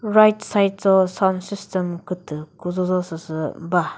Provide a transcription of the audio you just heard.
right side cho sound system kütü küzho zho süsü ba.